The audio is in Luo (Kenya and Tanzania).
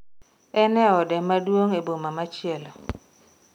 En e ode maduong' e boma machielo